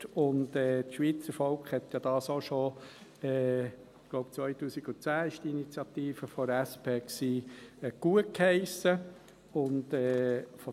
Und das Schweizer Volk hat dies ja auch schon gutgeheissen – ich glaube, im Jahr 2010 war die Initiative der SP.